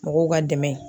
Mɔgɔw ka dɛmɛ